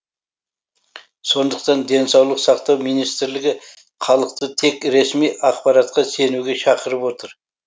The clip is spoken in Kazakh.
сондықтан денсаулық сақтау министрлігі халықты тек ресми ақпаратқа сенуге шақырып отыр